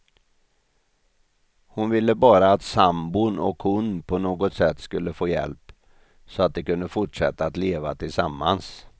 Hon ville bara att sambon och hon på något sätt skulle få hjälp, så att de kunde fortsätta att leva tillsammans.